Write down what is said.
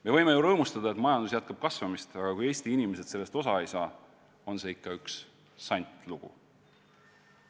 Me võime ju rõõmustada, et majandus jätkab kasvamist, aga kui Eesti inimesed sellest osa ei saa, on see ikka üks sant lugu.